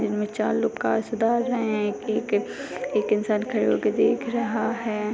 चार लोग कार सुधार रहे है एक इंसान खड़े होके देख रहा है।